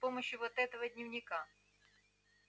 с помощью вот этого дневника